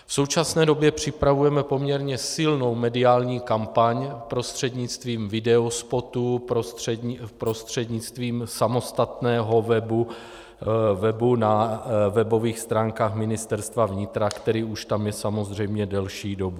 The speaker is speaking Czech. V současné době připravujeme poměrně silnou mediální kampaň prostřednictvím videospotů, prostřednictvím samostatného webu na webových stránkách Ministerstva vnitra, který už tam je samozřejmě delší dobu.